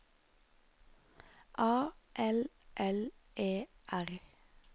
A L L E R